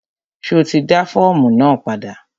Ṣo ti dá fọ́ọ̀mù náà padà?